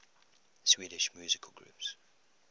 swedish musical groups